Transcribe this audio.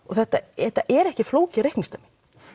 þetta er ekki flókið reikningsdæmi